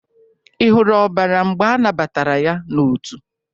Ị hụrụ ọbara mgbe anabatara ya n'otu?